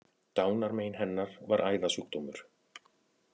Dánarmein hennar var æðasjúkdómur